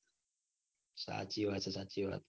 સાચી વાત હ સાચી વાત.